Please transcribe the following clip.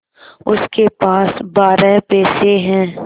उसके पास बारह पैसे हैं